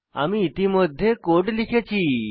আমি ইতিমধ্যে কোড লিখেছি